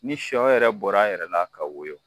Ni sɔ yɛrɛ bɔra a yɛrɛ la ka woyo